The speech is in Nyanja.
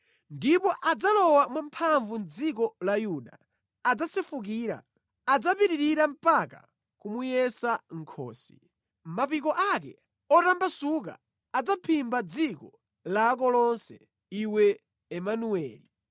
Ndipo adzalowa mwamphamvu mʼdziko la Yuda, adzasefukira, adzapitirira mpaka kumuyesa mʼkhosi. Mapiko ake otambasuka adzaphimba dziko lako lonse, iwe Imanueli!”